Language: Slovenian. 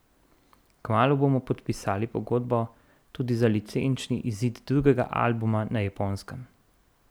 Kmalu bomo podpisali pogodbo tudi za licenčni izid drugega albuma na Japonskem.